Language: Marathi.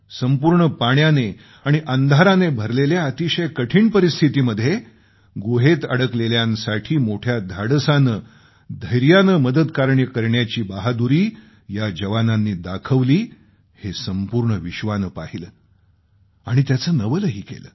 संपूर्ण पाण्याने आणि अंधाराने भरलेल्या अतिशय कठीण परिस्थितीमध्ये गुहेत अडकलेल्यांसाठी मोठ्या धाडसाने धैर्याने मदतकार्य करण्याची बहादुरी या जवानांनी दाखवली हे संपूर्ण विश्वानं पाहिलं आणि त्याचं नवलही केलं